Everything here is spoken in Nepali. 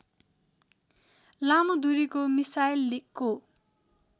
लामो दूरीको मिसाइलको